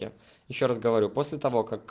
ещё раз говорю после того как